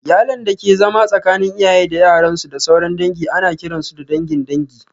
Iyalan dake zama tsakanin iyaye da yaran su, da sauran dangi, ana kiran su da dangin dangin